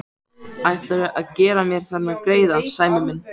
Ætlarðu að gera mér þennan greiða, Sæmi minn?